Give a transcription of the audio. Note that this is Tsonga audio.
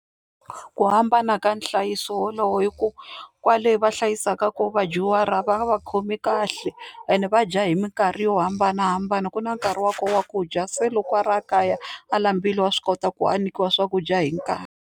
Ku hambana ka nhlayiso wolowo i ku kwale va hlayisaka kona vadyuhari a va va khomi kahle ene va dya hi minkarhi yo hambanahambana ku na nkarhi wa koho wa ku dya se loko a ri a kaya a laambile wa swi kota ku a nyikiwa swakudya hi nkarhi.